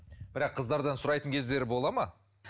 бірақ қыздардан сұрайтын кездері болады ма